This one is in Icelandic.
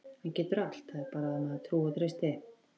Hann getur allt, það er bara að maður trúi og treysti.